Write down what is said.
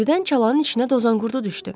Birdən çalanın içinə dozanqurdu düşdü.